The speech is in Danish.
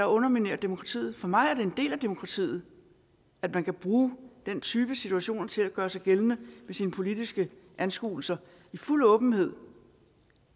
underminerer demokratiet for mig er det en del af demokratiet at man kan bruge den type situationer til at gøre sig gældende med sine politiske anskuelser i fuld åbenhed